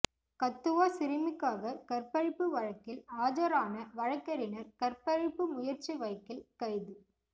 கத்துவா சிறுமிக்காக கற்பழிப்பு வழக்கில் ஆஜரான வழக்கறிஞர் கற்பழிப்பு முயற்சி வழக்கில் கைது